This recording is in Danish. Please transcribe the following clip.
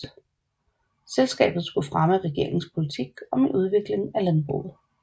Selskabet skulle fremme regeringens politik om en udvikling af landbruget